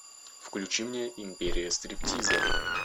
включи мне империя стриптиза